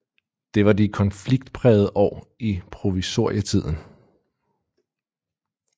Det var de konfliktprægede år i provisorietiden